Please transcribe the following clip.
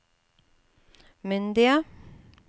myndige